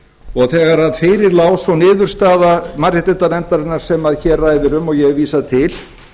og þegar fyrir lá sú niðurstaða mannréttindanefndarinnar sem hér um ræðir og ég hef vísað til